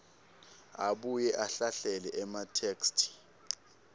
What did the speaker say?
abuye ahlahlele ematheksthi